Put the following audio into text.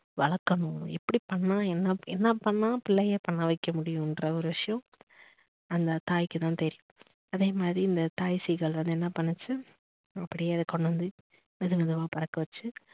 வளர்கனோம் எப்படி பண்ணா என்னா பண்ணா புள்ளைய பண்ண வைக்க முடியும்னுற ஒரு விஷயம் அந்த தாய்க்கு தான் தெரியும் அதேமாரி இந்த தாய் சீகல் வந்து என்னா பண்ணுச்சு அப்படியே அத கொண்டு வந்து மெது மெதுவா அத பறக்கவச்சு